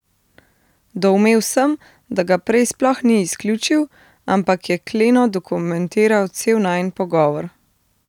Doumel sem, da ga prej sploh ni izključil, ampak je kleno dokumentiral cel najin pogovor.